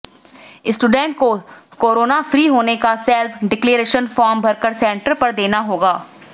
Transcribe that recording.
students को corona free होने का सेल्फ डिक्लेरेशन फॉर्म भरकर सेंटर पर देना होगा